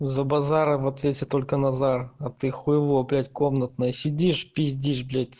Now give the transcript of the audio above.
за базар в ответе только назар а ты хйло блять комнатное сидишь пиздишь блять